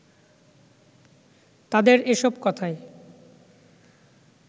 তাদের এসব কথায়